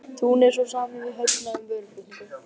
Túnis og samið við Högna um vöruflutninga.